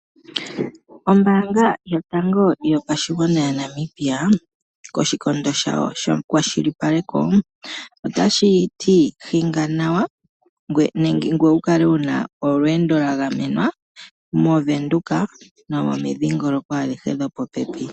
Ombaanga yotango yopashigwana yaNamibia koshikondo shayo shekwashilipaleko otashi ti hinga nawa ngoye wu kale wu na olweendo lwagamenwa mOvenduka nomomindhingoloko adhihe dhopopepi.